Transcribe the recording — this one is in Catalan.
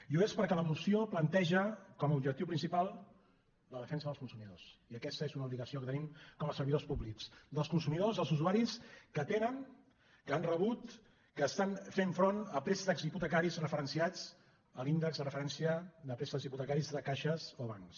i ho és perquè la moció planteja com a ob·jectiu principal la defensa dels consumidors i aquesta és una obligació que tenim com a servidors públics dels consumidors dels usuaris que tenen que han re·but que estan fent front a préstecs hipotecaris referen·ciats a l’índex de referència de préstecs hipotecaris de caixes o bancs